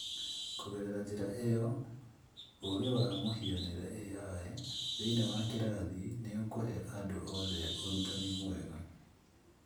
Kũgerera njĩra ĩyo, ũũgĩ wa mũhianĩre(AI) thĩinĩ wa kĩrathi nĩ ũkũhe andũ othe ũrutani mwega